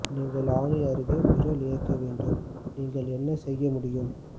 நீங்கள் ஆணி அருகே விரல் இயக்க வேண்டும் நீங்கள் என்ன செய்ய முடியும்